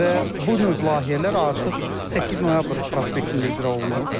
Və bu növ layihələr artıq 8 noyabr prospektində icra olunub.